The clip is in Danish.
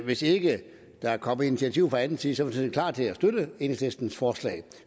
hvis ikke der kommer initiativ fra anden side sådan set klar til at støtte enhedslistens forslag